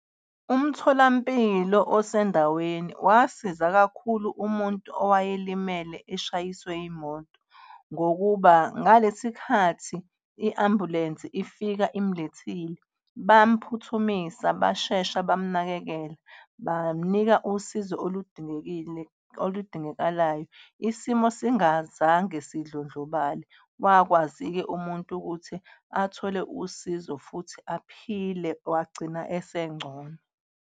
Umtholampilo osendaweni wasiza kakhulu umuntu owayelimele, eshayiswe imoto. Ngokuba ngalesi khathi i-ambulensi ifika imlethile bamphuthumisa, bashesha bamnakekela, bamnika usizo oludingekile oludingakalayo isimo singazange sidlondlobale. Wakwazi-ke umuntu ukuthi athole usizo futhi aphile wagcina esengcono.